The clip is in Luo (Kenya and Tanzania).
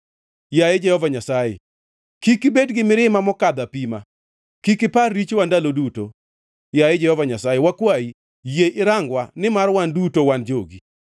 Yaye Jehova Nyasaye, kik ibed gi mirima mokadho apima, kik ipar richowa ndalo duto. Yaye Jehova Nyasaye, wakwayi, yie irangwa, nimar wan duto wan jogi.